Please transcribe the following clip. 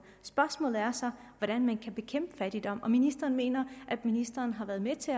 spørgsmålet er så hvordan man kan bekæmpe fattigdom ministeren mener at ministeren har været med til